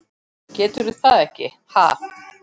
Geturðu það ekki, ha?